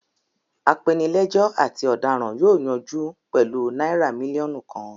Apenilẹ́jọ́ àti ọ̀daràn yóò yanjú pẹ̀lú náírà mílíọ̀nù kan.